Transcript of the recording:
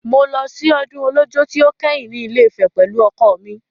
Mo lọ sí ọdún Ọlọ́jọ́ tí ó kẹ́yìn ní Ilé-Ifẹ̀ pẹ̀lú ọkọ mi.